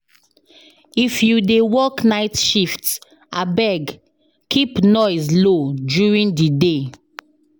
If you dey work night shift, abeg keep noise low during the day.